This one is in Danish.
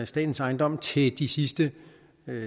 statens ejendomsret til de sidste